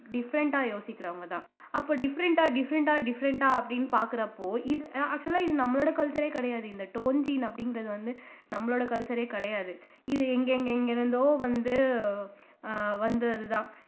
different ஆ யோசிக்கிறவங்கதான் அப்ப different ஆ different ஆ different ஆ அப்படின்னு பார்க்கிறப்போ இது அஹ் actual ஆ இது நம்மளோட culture ஏ கிடையாது இந்த torn jean அப்படிங்கிறது வந்து நம்மளோட culture ஏ கிடையாது இது எங்கெங்கெங்கிருந்தோ வந்து ஆஹ் வந்தது தான்